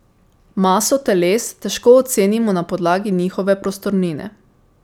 Maso teles težko ocenimo na podlagi njihove prostornine.